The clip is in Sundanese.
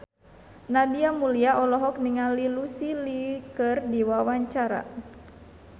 Nadia Mulya olohok ningali Lucy Liu keur diwawancara